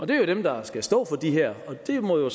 det er jo dem der skal stå for det her så det må